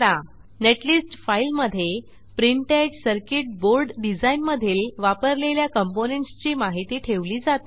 netlist फाईलमधे printed circuit board design मधील वापरलेल्या कॉम्पोनेंट्स ची माहिती ठेवली जाते